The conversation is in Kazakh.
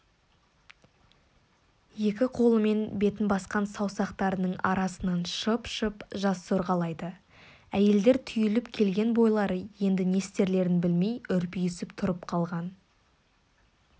екі қолымен бетін басқан саусақтарының арасынан шып-шып жас сорғалайды әйелдер түйіліп келген бойлары енді не істерлерін білмей үрпиісіп тұрып қалған